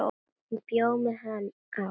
Hún bjó með hann á